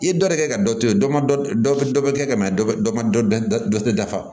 I ye dɔ de kɛ ka dɔ to yen dɔ ma dɔ dɔ bɛ kɛ ka na dɔ ma dɔ tɛ dafa